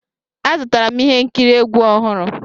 Azụtara m ihe nkiri egwu ọhụrụ.